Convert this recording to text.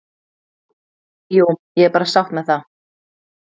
Jú, ég er bara sátt með það.